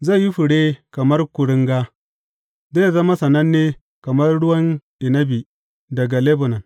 Zai yi fure kamar kuringa, zai zama sananne kamar ruwan inabi daga Lebanon.